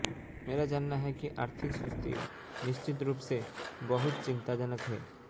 मेरा मानना है कि आर्थिक सुस्ती निश्चित रूप से बहुत चिंताजनक है